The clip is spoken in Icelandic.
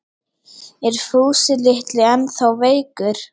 Er Fúsi litli ennþá veikur?